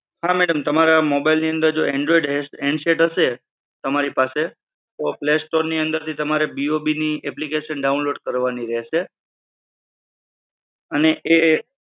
હા madam જો તમારા mobile ની અંદર જો android handset હશે તમારી પાસે તો play store ની અંદર તમારે BOB ની application download કરવાની રહેશે. અને એ